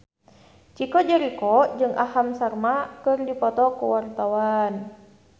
Chico Jericho jeung Aham Sharma keur dipoto ku wartawan